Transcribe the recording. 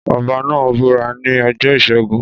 Ọbá náà búra ní ọjọ́ ìṣẹ́gun.